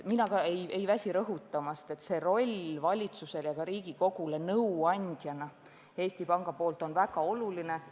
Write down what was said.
Mina ka ei väsi rõhutamast, et Eesti Panga roll valitsusele ja ka Riigikogule nõu andjana on väga oluline.